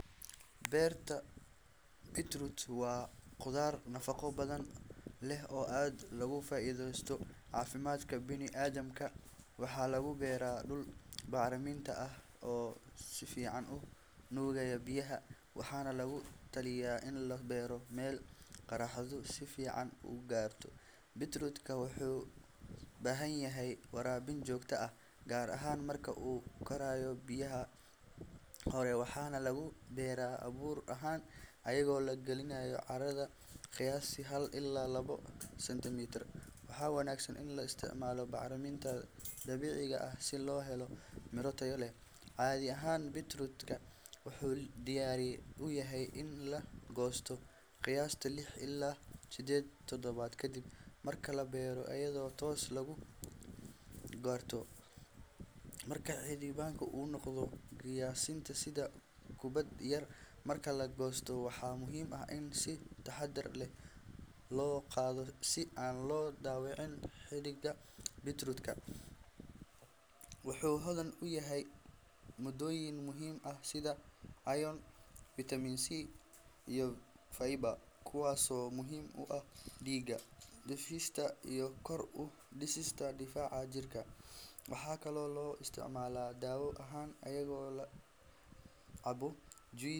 Beetroot waa khudrad nafaqo badan leh oo aad loogu faa’iideysto caafimaadka bini’aadamka. Waxaa lagu beeraa dhul bacrin ah oo si fiican u nuugaya biyaha, waxaana lagu taliya in la beero meel qorraxdu si fiican u gaarto. Beetroot-ka wuxuu u baahan yahay waraabin joogto ah gaar ahaan marka uu korayo bilaha hore, waxaana lagu beeraa abuur ahaan iyadoo la geliyo carrada qiyaastii hal ilaa labo sentimitir. Waxaa wanaagsan in la isticmaalo bacriminta dabiiciga ah si loo helo miro tayo leh. Caadi ahaan, beetroot wuxuu diyaar u yahay in la goosto qiyaastii lix ilaa sideed toddobaad kadib marka la beero, iyadoo taas lagu garto marka xididka uu noqdo qiyaastii sida kubad yar. Marka la goosto, waxaa muhiim ah in si taxaddar leh loo qodo si aan loo dhaawicin xididka. Beetroot wuxuu hodan ku yahay maaddooyin muhiim ah sida iron, vitamin C, iyo fiber, kuwaasoo muhiim u ah dhiigga, dheefshiidka, iyo kor u qaadista difaaca jirka. Waxaa kaloo loo isticmaalaa daawo ahaan iyadoo la cabo juice.